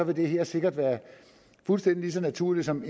det her sikkert være lige så naturligt som